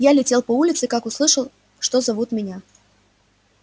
я летел по улице как услышал что зовут меня